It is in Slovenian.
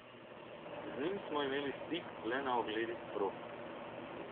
Z njim smo imeli stik le na ogledih prog.